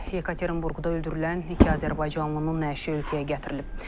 Yekaterinburqda öldürülən iki azərbaycanlının nəşi ölkəyə gətirilib.